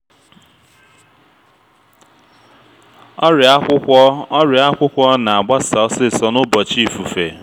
ọrịa akwụkwọ ọrịa akwụkwọ na-agbasa osisor n’ụbọchị ifufe